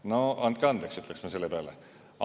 No andke andeks, ütleks ma selle peale.